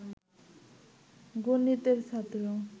গণিতের ছাত্র